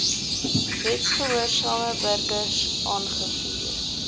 wetsgehoorsame burgers aangevuur